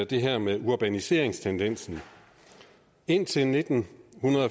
det her med urbaniseringstendensen indtil nitten